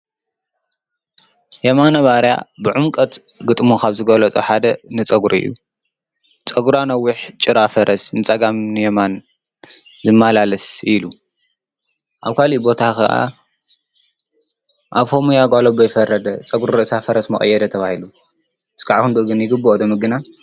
ጰጉሪ ዝበሃል ካብቶም ናይ ወድሰብ ተፈጥራዊ መልክዕን ክፍሊ ኣካልን እዮም። ሕማቅ ፀጉሪ ዘለዎ ከዓ ሕማቅ መልክዕ ይህልዎ። ንኣብነት ስለ ፀጉሪ የማነ ባርያ ደሪፍዎ እዩ።